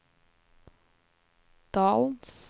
dalens